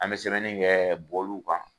An be sɛbɛnni kɛ bɔlu kan